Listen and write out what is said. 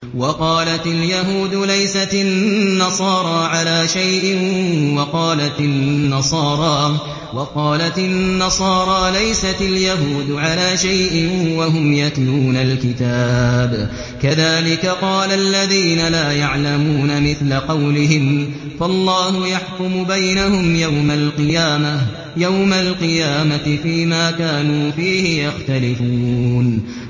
وَقَالَتِ الْيَهُودُ لَيْسَتِ النَّصَارَىٰ عَلَىٰ شَيْءٍ وَقَالَتِ النَّصَارَىٰ لَيْسَتِ الْيَهُودُ عَلَىٰ شَيْءٍ وَهُمْ يَتْلُونَ الْكِتَابَ ۗ كَذَٰلِكَ قَالَ الَّذِينَ لَا يَعْلَمُونَ مِثْلَ قَوْلِهِمْ ۚ فَاللَّهُ يَحْكُمُ بَيْنَهُمْ يَوْمَ الْقِيَامَةِ فِيمَا كَانُوا فِيهِ يَخْتَلِفُونَ